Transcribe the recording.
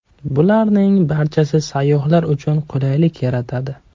Bularning barchasi sayyohlar uchun qulaylik yaratadi.